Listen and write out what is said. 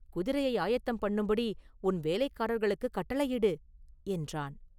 குதிரையை ஆயத்தம் பண்ணும்படி உன் வேலைக்காரர்களுக்குக் கட்டளையிடு!” என்றான்.